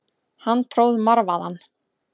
Hann tróð marvaðann.